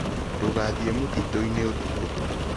Ndũgathiĩ mũtitũ-inĩ ũtukũ.